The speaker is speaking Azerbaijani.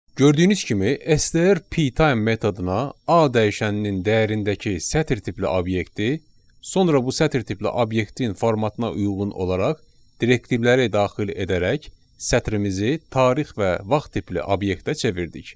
Gördüyünüz kimi STR PTime metoduna A dəyişəninin dəyərindəki sətr tipli obyekti, sonra bu sətr tipli obyektin formatına uyğun olaraq direktivləri daxil edərək sətrimizi tarix və vaxt tipli obyektə çevirdik.